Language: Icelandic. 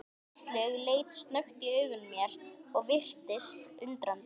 Áslaug leit snöggt í augu mér og virtist undrandi.